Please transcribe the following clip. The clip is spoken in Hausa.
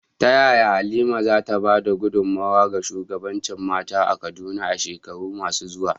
Ta yaya Halima za ta ba da gudunmawa ga shugabancin mata a Kaduna a shekaru masu zuwa?